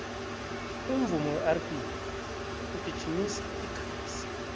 umvumo werb ungijimisa igazi